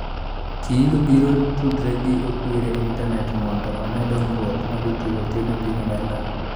Kiilu biro tudore gi Okwiri e intanet mondo one dongruok ma jotugo timo e piny Amerka.